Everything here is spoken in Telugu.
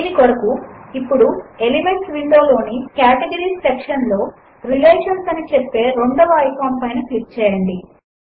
దీని కొరకు ఇప్పుడు ఎలిమెంట్స్ విండో లోని కేటగరీస్ సెక్షన్ లో రిలేషన్స్ అని చెప్పే రెండవ ఐకాన్ పైన క్లిక్ చేయండి